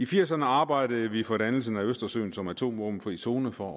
firserne arbejdede vi for dannelsen af østersøen som atomvåbenfri zone for